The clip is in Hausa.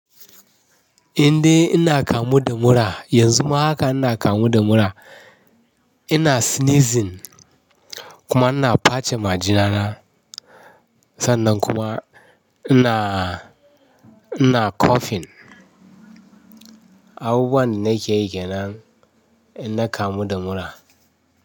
Indai ina kamu da mura, yanzu ma hakan ina kamu da mura. Ina sneezing kuma ina face majina na, sannan kuma ina, ina coughing. Abubuwan da nake yi kenan ina kamu da mura.